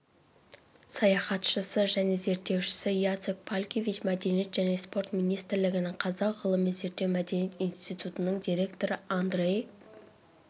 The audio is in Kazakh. саяхатшысы және зерттеуші яцек палкевич мәдениет және спорт министрлігінің қазақ ғылыми-зерттеу мәдениет институтының директоры андрей